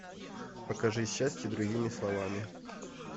покажи счастье другими словами